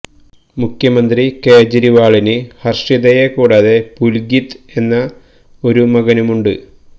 മുഖ്യമന്ത്രി കേജ് രിവാളിന് ഹര്ഷിതയെ കൂടാതെ പുല്കിത് എന്ന ഒരു മകനുമുണ്ട്